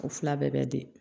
O fila bɛɛ bɛ di